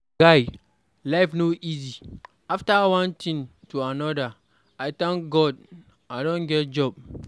Guy, life no easy, after one thing to another. I thank God I don get job.